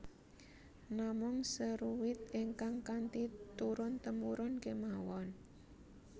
Namung seruit ingkang kanthi turun temurun kemawon